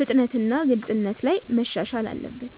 ፍጥነትና ግልጽነት ላይ መሻሻል አለበት።